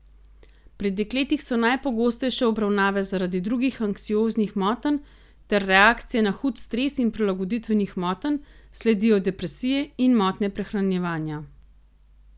Pri dekletih so najpogostejše obravnave zaradi drugih anksioznih motenj ter reakcije na hud stres in prilagoditvenih motenj, sledijo depresije in motnje prehranjevanja.